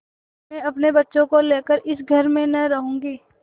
मैं अपने बच्चों को लेकर इस घर में न रहूँगी